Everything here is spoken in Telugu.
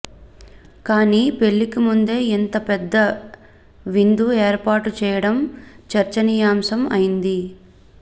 కానీ పెళ్లికి ముందే ఇంత పెద్ద విందు ఏర్పాటు చేయడం చర్చనీయాంశం అయింది